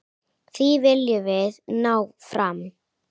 Því viljum við ná fram.